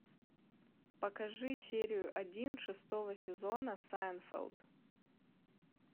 покажи серию один шестого сезона сайнфелд